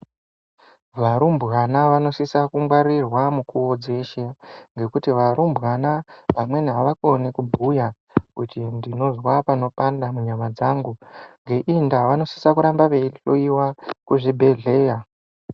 Varumbwana vanosisa kungwarirwa mikuwo dzeshe, ngekuti varumbwana vamweni avakoni kubhuya kuti ndinozwa panopanda munyama dzangu. Ngeiyi ndaa vanosisa kuita veihloiwa kuzvibhedhleya.